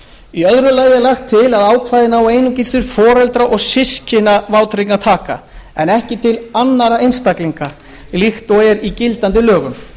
í öðru lagi er lagt til að ákvæðið nái einungis til foreldra og systkina vátryggingartaka en ekki til annarra einstaklinga líkt og er í gildandi lögum